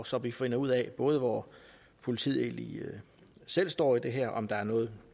så vi finder ud af både hvor politiet egentlig selv står i det her om der er noget